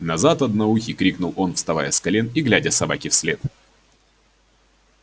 назад одноухий крикнул он вставая с колен и глядя собаке вслед